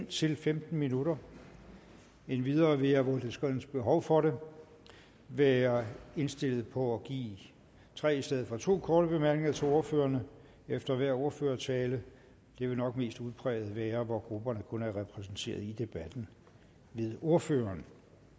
til femten minutter endvidere vil jeg hvor der skønnes behov for det være indstillet på at give tre i stedet for to korte bemærkninger til ordførerne efter hver ordførertale det vil nok mest udpræget være hvor grupperne kun er repræsenteret i debatten ved ordføreren